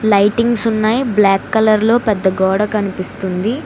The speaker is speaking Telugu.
లైటింగ్స్ ఉన్నాయి బ్లాక్ కలర్ లో పెద్ద గోడ కనిపిస్తుంది.